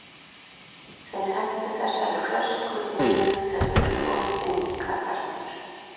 Þeir hentu þessari flösku í mig þegar þeir fóru inn, kallarnir.